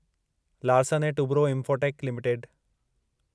Larsen and Toubro Infotech limited